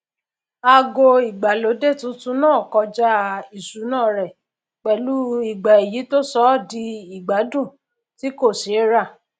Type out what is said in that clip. aago ìgbàlódé tuntun náà kọjá ìṣúná rẹ pẹlú igba èyí tó sọ ọ di ìgbádùn tí kò ṣe é rà